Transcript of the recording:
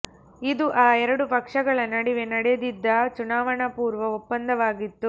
ಇದು ಆ ಎರಡು ಪಕ್ಷಗಳ ನಡುವೆ ನಡೆದಿದ್ದ ಚುನಾವಣಾ ಪೂರ್ವ ಒಪ್ಪಂದವಾಗಿತ್ತು